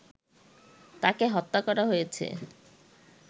তাকে হত্যা করা হয়েছে